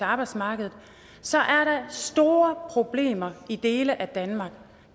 arbejdsmarkedet så er der store problemer i dele af danmark